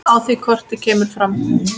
Á því korti kemur fram